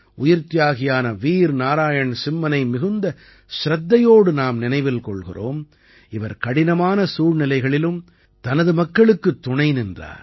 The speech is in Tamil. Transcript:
உயிர்த்தியாகியான வீர் நாராயண் சிம்மனை மிகுந்த சிரத்தையோடு நாம் நினைவில் கொள்கிறோம் இவர் கடினமான சூழ்நிலைகளிலும் தனது மக்களுக்குத் துணை நின்றார்